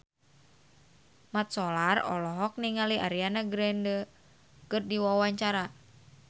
Mat Solar olohok ningali Ariana Grande keur diwawancara